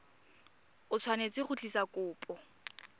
o tshwanetse go tlisa kopo